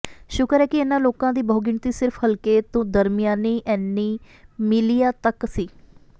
ਸ਼ੁਕਰ ਹੈ ਕਿ ਇਨ੍ਹਾਂ ਲੋਕਾਂ ਦੀ ਬਹੁਗਿਣਤੀ ਸਿਰਫ ਹਲਕੇ ਤੋਂ ਦਰਮਿਆਨੀ ਐਨੀਮਲਿਆ ਤੱਕ ਸੀ